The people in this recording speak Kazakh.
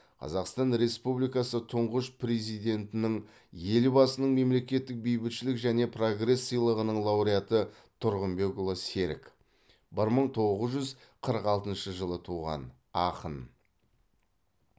қазақстан республикасы тұңғыш президентінің елбасының мемлекеттік бейбітшілік және прогресс сыйлығының лауреаты тұрғынбекұлы серік бір мың тоғыз жүз қырық алтыншы жылы туған ақын